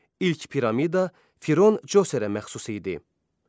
İlk piramida Firon Coserə məxsus idi.